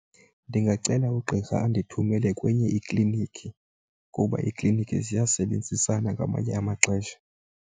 Ndingacela ugqirha andithumele kwenye iklinikhi kuba iiklinikhi ziyasebenzisana ngamanye amaxesha.